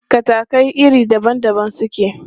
Katakai iri daban daban suke.